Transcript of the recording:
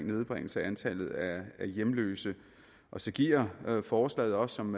nedbringelse af antallet af hjemløse og så giver forslaget også som